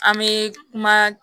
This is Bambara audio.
An bɛ kuma